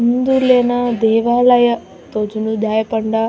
ಹಿಂದುಲೆನ ದೇವಾಲಯ ತೋಜುಂಡು ದಾಯೆ ಪಂಡ --